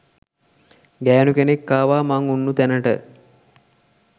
ගෑණු කෙනෙක් ආවා මං උන්නු තැනට